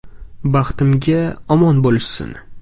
Baxtimga omon bo‘lishsin!